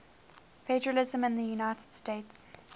federalism in the united states